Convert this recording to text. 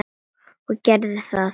Og geri það.